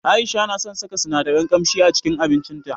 Aisha na son saka sinadaran kamshi a cikin abincin ta.